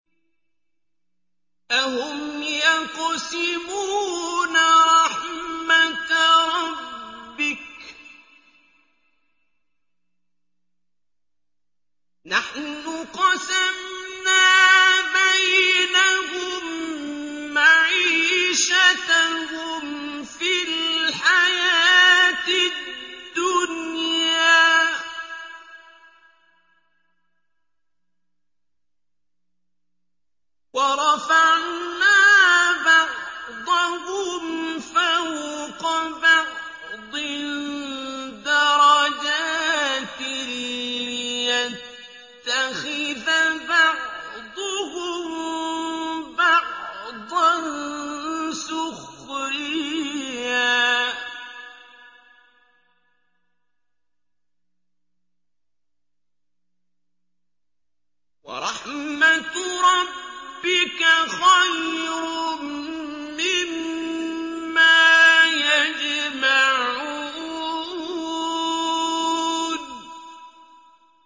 أَهُمْ يَقْسِمُونَ رَحْمَتَ رَبِّكَ ۚ نَحْنُ قَسَمْنَا بَيْنَهُم مَّعِيشَتَهُمْ فِي الْحَيَاةِ الدُّنْيَا ۚ وَرَفَعْنَا بَعْضَهُمْ فَوْقَ بَعْضٍ دَرَجَاتٍ لِّيَتَّخِذَ بَعْضُهُم بَعْضًا سُخْرِيًّا ۗ وَرَحْمَتُ رَبِّكَ خَيْرٌ مِّمَّا يَجْمَعُونَ